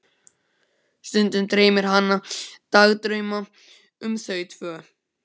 Stundum dreymir hana dagdrauma um þau tvö.